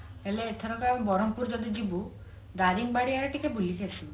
ହେଲେ ଏଥରକ ଆଉ ବ୍ରହ୍ମପୁର ଯଦି ଯିବୁ ଦାରିଙ୍ଗିବାଡି ଆଡେ ଟିକେ ବୁଲିକି ଆସିବୁ